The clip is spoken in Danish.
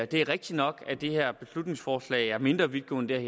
det er rigtig nok at det her beslutningsforslag er mindre vidtgående end